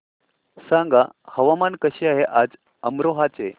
सांगा हवामान कसे आहे आज अमरोहा चे